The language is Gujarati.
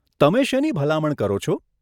તમે શેની ભલામણ કરો છો?